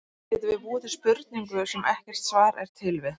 Getum við búið til spurningu, sem ekkert svar er til við?